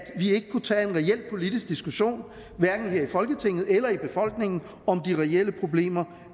kunne tage en reel politisk diskussion hverken her i folketinget eller i befolkningen om de reelle problemer